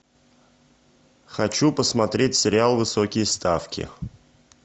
хочу посмотреть сериал высокие ставки